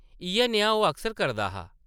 इʼयै नेहा ओह् अक्सर करदा हा ।